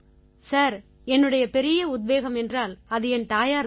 sir என்னுடைய பெரிய உத்வேகம் என்றால் அது என் தாயார் தான்